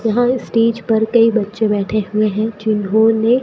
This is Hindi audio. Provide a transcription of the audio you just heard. यहां स्टेज पर कई बच्चे बैठे हुए हैं जिन्होंने--